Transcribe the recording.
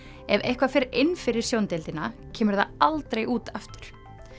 ef eitthvað fer inn fyrir kemur það aldrei út aftur